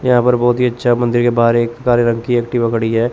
यहां पर बहोत ही अच्छा मंदिर के बाहर एक काले रंग की एक्टिवा खड़ी हैं।